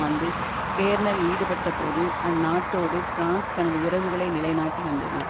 ஆண்டு கேர்னல் ஈடுபட்டபோது அந்நாட்டோடு பிரான்ஸ் தனது உறவுகளை நிலைநாட்டி வந்தது